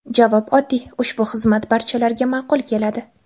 Javob oddiy – ushbu xizmat barchalarga ma’qul keladi!